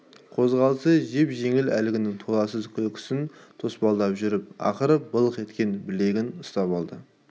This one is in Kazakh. қозғалысы жеп-жеңіл әлгінің толассыз күлкісін тұспалдап жүріп ақыры былқ еткен білегінен ұстап алды